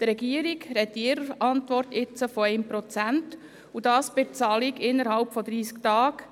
Die Regierung spricht in ihrer Antwort von 1 Prozent bei der Bezahlung innerhalb von 30 Tagen.